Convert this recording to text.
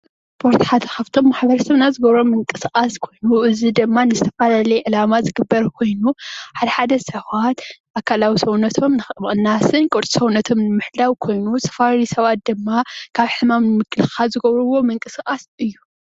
ስፖርት ሓደ ካብቶም ማሕበረሰብና ዝገበሮም ምንቅስቓስ ኮይኑ እዚ ድማ ንዝተፈላለዩ ዕላማ ዝግበር ኮይኑ ሓደ ሓደ ሰባት ኣካላዊ ሰውነቶም ንምቕናስን ቅርፂ ሰውነቶም ንምሕላው ኮይኑ ዝተፈላለዩ ሰባት ድማ ካብ ሕማም ንምክልኻል ዝገብርዎ ምንቅስቓስ እዩ።